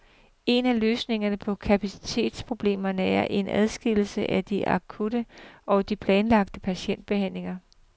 En af løsningerne på kapacitetsproblemerne er en adskillelse af de akutte og de planlagte patientbehandlinger.